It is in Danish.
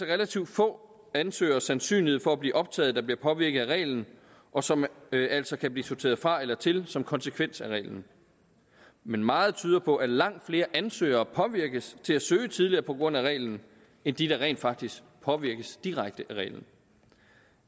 relativt få ansøgeres sandsynlighed for at blive optaget der bliver påvirket af reglen og som altså kan blive sorteret fra eller til som konsekvens af reglen men meget tyder på at langt flere ansøgere påvirkes til at søge tidligere på grund af reglen end de der rent faktisk påvirkes direkte af reglen